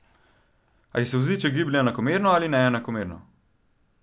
Ali se voziček giblje enakomerno ali neenakomerno?